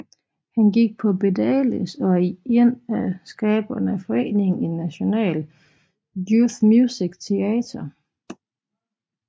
Han er gik på Bedales og er én af skaberne af foreningen National Youth Music Theatre